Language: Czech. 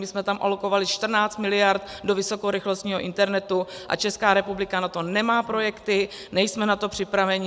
My jsme tam alokovali 14 miliard do vysokorychlostního internetu a Česká republika na to nemá projekty, nejsme na to připraveni.